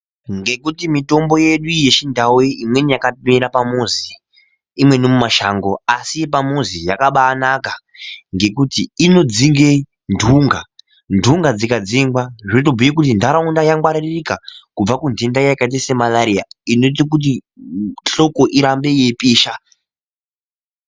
Ngekuti mitombo yedu yechindau iyi yakaoera pamuzi imweni ndeye mumashango asi yepamuzi yakabanaka ngekuti inodzinga ndunga ndunga dzikadzingwa zvotobhuya ndaraunda yangwaririka kubva kundenda yakaita semalarira kuti hloko irambe yeipisha.